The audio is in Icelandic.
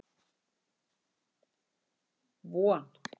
Von